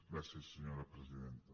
gràcies senyora presidenta